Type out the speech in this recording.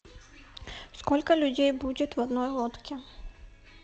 сколько людей будет в одной лодке